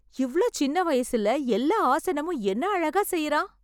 இவ்ளோ சின்ன வயசுல எல்லா ஆசனமும் என்ன அழகா செய்றான்.